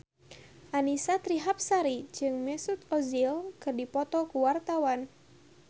Annisa Trihapsari jeung Mesut Ozil keur dipoto ku wartawan